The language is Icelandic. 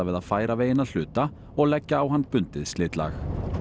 að færa veginn að hluta og leggja á hann bundið slitlag